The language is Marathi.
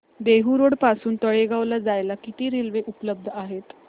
देहु रोड पासून तळेगाव ला जायला किती रेल्वे उपलब्ध आहेत